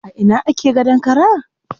A ina ake yin gadon kara?